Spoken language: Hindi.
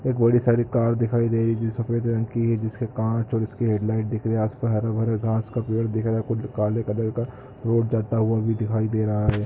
एक बड़ी सारी कार दिखाई दे रही है जो सफेद रंग की है जिसके कांच और उसकी हैडलाइट दिख रही है आस -पास हरे -भरे घास का पेड़ दिख रहा है कुछ काले कलर का बोट जाता हुआ भी दिखाई दे रहा है--